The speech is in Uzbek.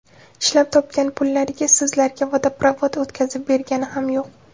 Ishlab topgan pullariga sizlarga vodoprovod o‘tkazib bergani ham yo‘q.